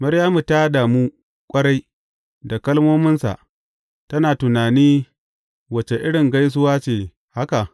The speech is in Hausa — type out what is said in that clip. Maryamu ta damu ƙwarai da kalmominsa, tana tunani wace irin gaisuwa ce haka?